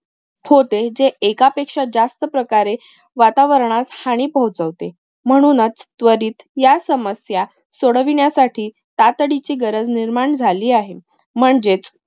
होते. जे एकापेक्षा जास्त प्रकारे वातावरणास हानी पोहोचवते. म्हणूनच त्वरित या समस्या सोडविण्यासाठी तातडीची गरज निर्माण झाली आहे. म्हणजेच